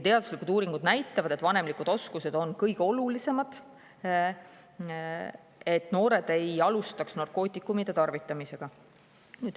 Teaduslikud uuringud näitavad, et vanemlikud oskused on kõige olulisemad, et noored ei alustaks narkootikumide tarvitamist.